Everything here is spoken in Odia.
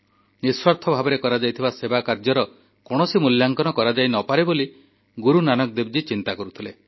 ନିଃସ୍ୱାର୍ଥ ଭାବରେ କରାଯାଇଥିବା ସେବାକାର୍ଯ୍ୟର କୌଣସି ମୂଲ୍ୟାଙ୍କନ କରାଯାଇ ନପାରେ ବୋଲି ଗୁରୁନାନକ ଦେବଜୀ ଚିନ୍ତା କରୁଥିଲେ